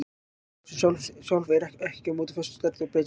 Gosrásin sjálf er aftur á móti föst stærð og breytist ekki.